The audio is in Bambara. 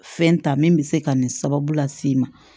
Fɛn ta min bɛ se ka nin sababu las'i ma